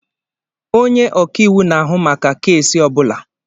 Onye ọka iwu na-ahụ maka keesi ọ bụla.